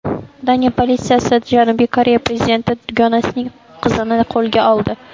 Daniya politsiyasi Janubiy Koreya prezidenti dugonasining qizini qo‘lga oldi.